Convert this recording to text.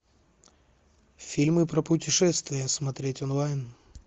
фильмы про путешествия смотреть онлайн